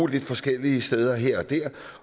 lidt forskellige steder her